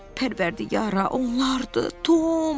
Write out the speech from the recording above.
Pərvərdigara, onlardır, Tom.